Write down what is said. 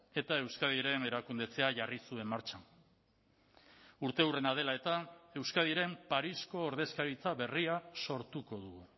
eta euskadiren erakundetzea jarri zuen martxan urteurrena dela eta euskadiren parisko ordezkaritza berria sortuko dugu